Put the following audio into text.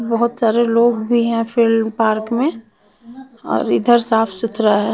बोहोत सारे लोग भी है फील्ड पार्क में और इधर साफ सुधारा है।